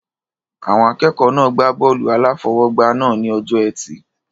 Àwọn akẹ́kọ̀ọ́ náà gbá bọ́ọ̀lù-aláfọwọ́gbá náà ní ọjọ́ ẹtì